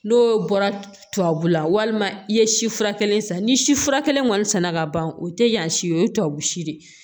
N'o bɔra tubabula walima i ye si fura kelen san ni sifura kelen kɔni sɛnɛ ka ban o tɛ yan si ye o ye tubabu si de ye